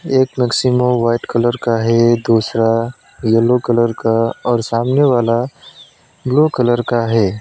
एक Maximo white colour का है दूसरा येलो कलर का और सामने वाला ब्लू कलर का है।